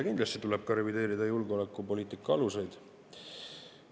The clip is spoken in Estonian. Kindlasti tuleb ka revideerida julgeolekupoliitika aluseid.